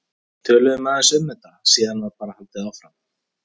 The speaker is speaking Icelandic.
Við töluðum aðeins um þetta og síðan var bara haldið áfram.